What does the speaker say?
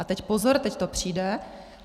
A teď pozor, teď to přijde.